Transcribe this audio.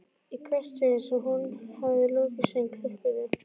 Í hvert sinn sem hún hafði lokið söng klöppuðu